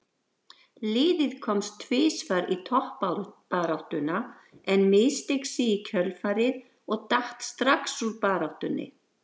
Liðið komst tvisvar í toppbaráttuna en missteig sig í kjölfarið og datt strax úr baráttunni.